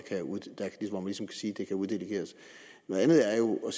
sige kan uddelegeres det andet er jo